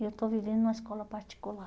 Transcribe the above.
E eu estou vivendo em uma escola particular.